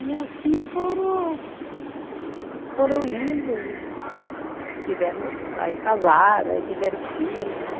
E assim foram, foram indo, que tiveram, aí casaram, aí tiveram filho, né?